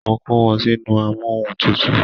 Mo kó wọn sínú amóhuntùtù